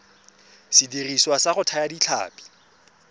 sediriswa sa go thaya ditlhapi